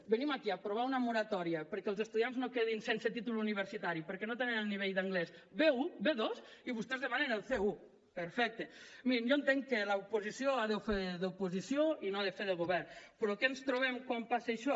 venim aquí a aprovar una moratòria perquè els estudiants no quedin sense títol universitari perquè no tenen el nivell d’anglès b1 b2 i vostès demanen el c1 perfecte mirin jo entenc que l’oposició a fer d’oposició i no ha de fer de govern però què ens trobem quan passa això